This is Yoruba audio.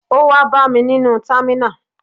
Ó wá bá mi nínú támínà